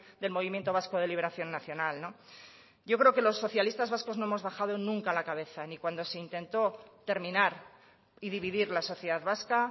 del movimiento vasco de liberación nacional yo creo que los socialistas vascos no hemos bajado nunca la cabeza ni cuando se intentó terminar y dividir la sociedad vasca